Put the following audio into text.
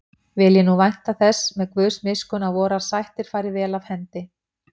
Vil ég nú vænta þess með Guðs miskunn að vorar sættir fari vel af hendi.